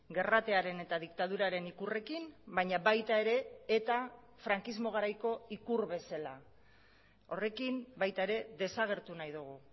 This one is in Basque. gerratearen eta diktaduraren ikurrekin baina baita ere eta frankismo garaiko ikur bezala horrekin baita ere desagertu nahi dugu